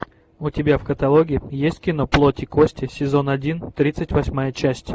у тебя в каталоге есть кино плоть и кости сезон один тридцать восьмая часть